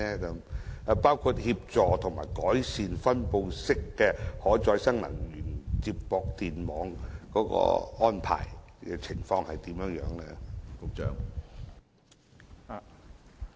此外，協助及改善分布式可再生能源接駁電網的安排情況為何？